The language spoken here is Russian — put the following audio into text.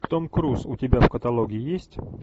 том круз у тебя в каталоге есть